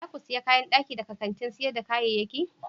Za ku sayi kayan daki daga kantin sayar da kayayyaki?